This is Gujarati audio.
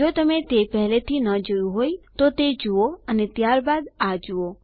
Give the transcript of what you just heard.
જો તમે તે પેહલેથી ન જોયું હોય તો તે જુઓ અને ત્યાર બાદ આ જુઓ